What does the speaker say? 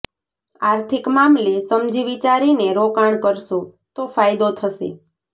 આર્થિક મામલે સમજી વિચારીને રોકાણ કરશો તો ફાયદો થશે